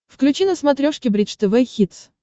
включи на смотрешке бридж тв хитс